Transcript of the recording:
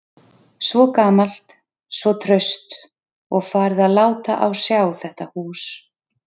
Svo gamalt, svo traust, og farið að láta á sjá þetta hús.